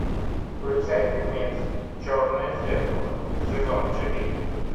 включай фильмец черное зеркало сезон четыре